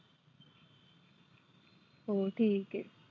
हो ठिक आहे.